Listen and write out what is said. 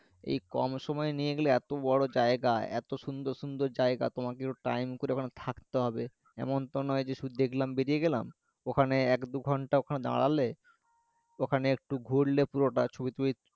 এই কম সময় নিয়ে গেলে এতো বড়ো জায়গায় এতো সুন্দর সুন্দর জায়গা তোমাকে একটু time করে ওখানে থাকতে হবে এমন তো নয় যে শুধু দেখলাম বেরিয়ে গেলাম ওখানে এক দু ঘন্টা ওখানে দাঁড়ালে ওখানে একটু ঘুরলে পুরোটা ছবি টবি